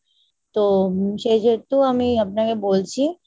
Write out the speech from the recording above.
তো সেহেতু আমি আপনাকে বলছি